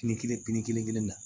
Ni kelen kelen na